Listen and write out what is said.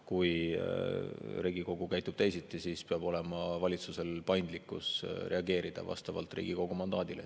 Kui Riigikogu käitub teisiti, siis peab valitsusel olema paindlikkus reageerida vastavalt Riigikogu mandaadile.